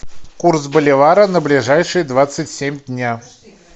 курс боливара на ближайшие двадцать семь дня